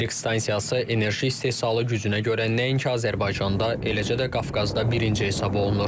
Elektrik stansiyası enerji istehsalı gücünə görə nəinki Azərbaycanda, eləcə də Qafqazda birinci hesab olunur.